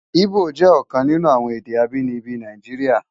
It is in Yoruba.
Ibó jè òkan ninú awòn èdè ábìníbi Náijiriá